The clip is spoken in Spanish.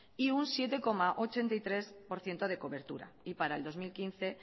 y un siete coma ochenta y tres por ciento de cobertura y para el dos mil quince